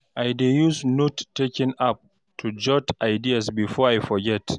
I dey use note taking app to jot ideas before I forget.